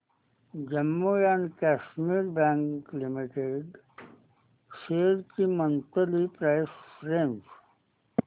Jammu and Kashmir bank limited shares ची monthly price range